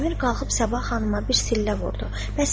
Əmir qalxıb Sabah xanıma bir sillə vurdu.